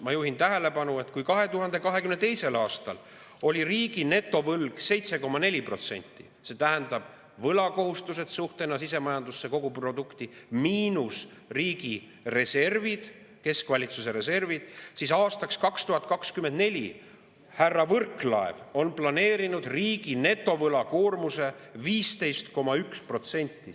Ma juhin tähelepanu, et kui 2022. aastal oli riigi netovõlg 7,4% – see tähendab võlakohustused suhtena sisemajanduse koguprodukti, miinus riigi reservid, keskvalitsuse reservid –, siis aastaks 2024 on härra Võrklaev planeerinud riigi netovõlakoormuseks 15,1%.